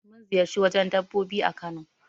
Mun ziƴarci wajen dabbobi a Kano.